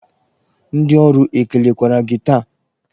Ndị ọrụ ekelekwara gị taa?